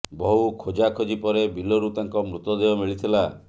ବହୁ ଖୋଜା ଖୋଜି ପରେ ବିଲରୁ ତାଙ୍କ ମୃତଦେହ ମିଳିଥିଲା